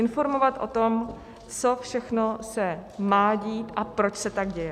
Informovat o tom, co všechno se má dít a proč se tak děje.